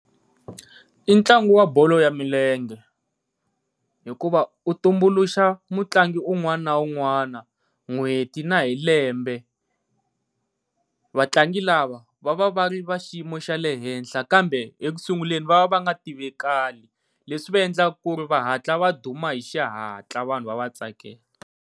I ntlangu wa bolo ya milenge hikuva u tumbuluxa mutlangi un'wana na un'wana n'hweti na hi lembe. Vatlangi lava va va va ri va xiyimo xa le henhla kambe ekusunguleni va va va nga tivekali, leswi swi va endlaka ku ri va hatla va duma hi xihatla vanhu va va tsakela.